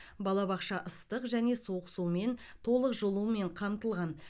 балабақша ыстық және суық сумен толық жылумен қамтылған